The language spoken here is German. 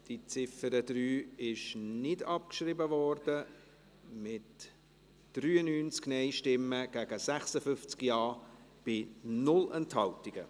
Die Ziffer 3 wurde nicht abgeschrieben, mit 93 Nein- gegen 56 Ja-Stimmen, bei 0 Enthaltungen.